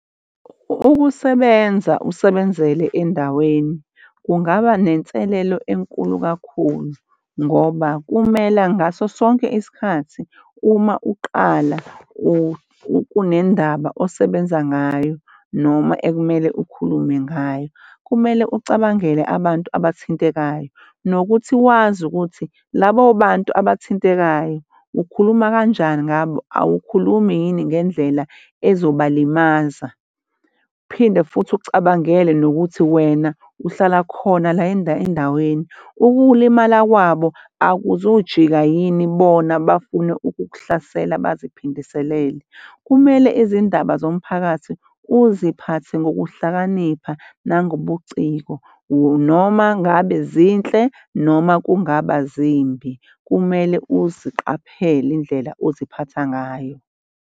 Ukusebenza usebenzele endaweni kungaba nenselelo enkulu kakhulu ngoba kumele ngaso sonke isikhathi uma uqala kunendaba osebenza ngayo noma ekumele ukhulume ngayo, kumele ucabangele abantu abathintekayo nokuthi wazi ukuthi labo bantu abathintekayo ukhuluma kanjani ngabo awukhulumi yini ngendlela ezoba limaza. Uphinde futhi ucabangele nokuthi wena uhlala khona la endaweni ukulimala kwabo akuzujika yini bona bafune ukukuhlasela baziphindisele kumele izindaba zomphakathi uziphathe ngokuhlakanipha nangobuciko noma ngabe zinhle noma kungaba zimbi, kumele uziqaphele indlela oziphatha ngayo.